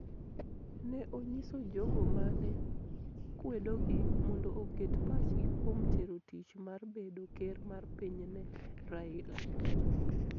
Ne onyiso jogo ma ne kwedogi mondo oket pachgi kuom tero tich mar bedo ker mar piny ne Raila.